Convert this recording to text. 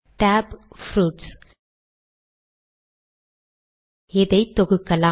tab fruits இதை தொகுக்கலாம்